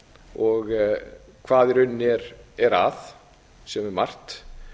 og hvað í rauninni er að sem er margt